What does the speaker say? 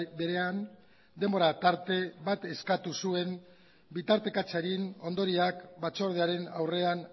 berean denbora tarte bat eskatu zuen bitartekatzaren ondorioak batzordearen aurrean